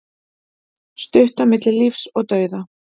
Stutt á milli lífs og dauða